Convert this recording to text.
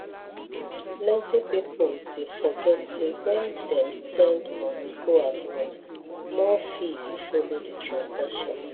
plenty people dey forget say when dem send money go abroad more fee dey follow the transaction